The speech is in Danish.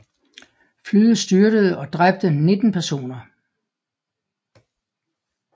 Flyet styrtede og dræbte 19 personer